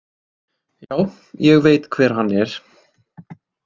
Já, ég veit hver hann er.